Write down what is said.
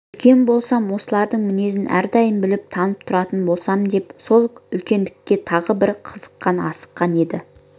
үлкен болсам осылардың мінезін әрдайым біліп танып тұратын болсам деп сол үлкендікке тағы да бір қызыққан асыққан еді